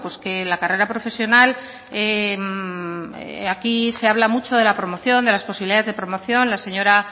que la carrera profesional aquí se habla mucho de la promoción de las posibilidades de promoción la señora